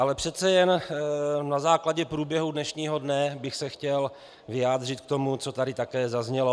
Ale přece jen na základě průběhu dnešního dne bych se chtěl vyjádřit k tomu, co tady také zaznělo.